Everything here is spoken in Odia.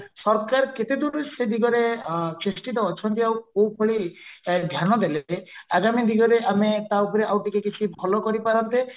ସରକାର କେତେ ଦୂର ସେଇ ଦିଗରେ ଚେଷ୍ଟିତ ଅଛନ୍ତି ଆଉ କୋଉଭଳି ଧ୍ୟାନ ଦେଲେ ଯେ ଆଗାମୀ ଦିନରେ ଆମେ ତାଉପରେ ଆଉ କିଛି ଭଲ କରି ପରନ୍ତେ